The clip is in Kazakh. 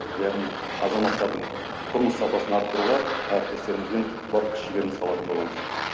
яғни азаматтардың тұрмыс сапасын арттыруға әріптестерімізбен бар күш жігерімізді салатын боламыз